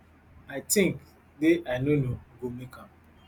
i tink day i no no go make am